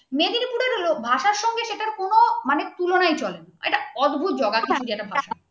মানে তুলনায় চলে না এটা অদ্ভুত জোগাড় তুমি যেটা ভাবছো